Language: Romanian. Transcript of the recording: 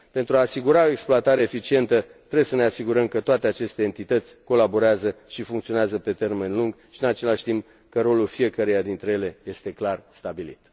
Pentru a asigura o exploatare eficientă, trebuie să ne asigurăm că toate aceste entități colaborează și funcționează pe termen lung și, în același timp, că rolul fiecăreia dintre ele este clar stabilit.